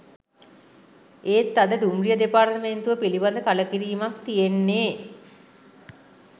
ඒත් අද දුම්රිය දෙපාර්තමේන්තුව පිළිබඳ කළකිරීමක් තියෙන්නේ.